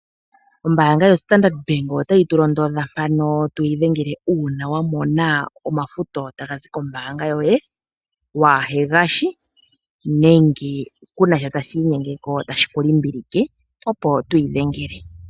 Ombanga yoStandart Bank otayi tulondodha mpano twii dhengela uuna wamona omafuto tagazi kombaanga yoye waa hengashi nenge ku nasha shimwe tashi inyenge tashi kulimbilike opo twiidhengele.